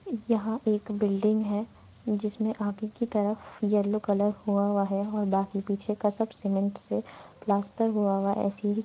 यहां एक बिल्डिंग है जिसमें आगे की तरफ येलो कलर हुआ हुआ है और बाकी पीछे का सब सीमेंट से प्लास्टर हुआ हुआ है। ऐसे ही--